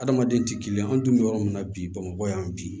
Adamaden tɛ kelen ye an dun bɛ yɔrɔ min na bi bamakɔ yan bi